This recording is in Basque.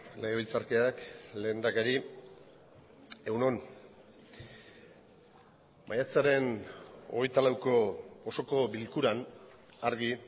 legebiltzarkideak lehendakari egun on maiatzaren hogeita lauko osoko bilkuran argi